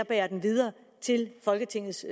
bære den videre til folketingets